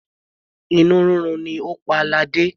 Inú rírun ni ó pa ladé.